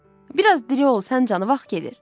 Bir az diri ol, sən canı vaxt gedir.